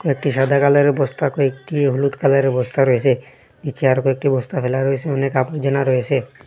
কয়েকটি সাদা কালারের বস্তা কয়েকটি হলুদ কালারের বস্তা রয়েসে নীচে আর কয়েকটি বস্তা ফেলা রয়েছে অনেক আপর্জনা রয়েসে।